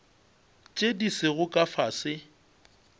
tše di sego ka fase